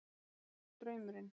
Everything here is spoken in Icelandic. Kannski það sé draumurinn.